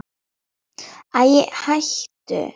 Ég vissi ekki að þú kynnir á gítar.